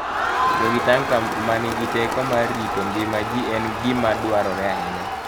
Bedo gi tanka ma nigi teko mar rito ngima ji en gima dwarore ahinya.